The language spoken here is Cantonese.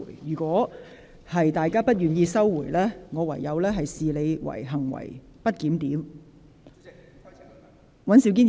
如果有關議員不收回，我會視之為行為不檢。